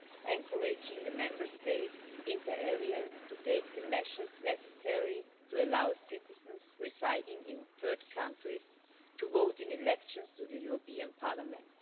encouraging the Member States inter alia to take the measures necessary to allow citizens residing in third countries to vote in elections to the European Parliament.